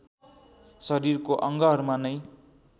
शरीरको अङ्गहरूमा नै